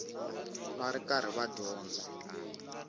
va ri karhi va dyondza